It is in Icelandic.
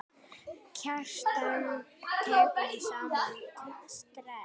Kjartan tekur í sama streng.